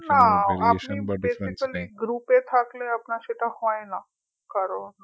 না আপনি basically group এ থাকলে আপনার সেটা হয়না কারণ